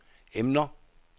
emner